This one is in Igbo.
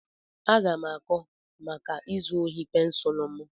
Aga m aga-akọ maka izu ohi pensụl m.